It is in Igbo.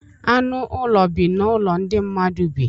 Anụ ụlọ bi n'ụlọ ndị mmadụ bi.